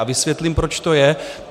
A vysvětlím, proč to je.